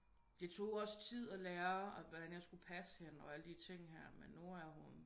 Det tog også tid at lære hvordan jeg skulle passe hende og alle de ting her men nu er hun